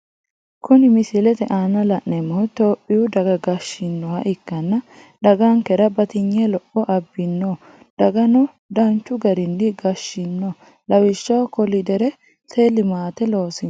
kuni misilete aana la, nemohu itoyipiyu daga gashinoha ikkana dagankera batinye lopho abino dagano danchu garini gashshino lawishshaho kolideri limate loosino.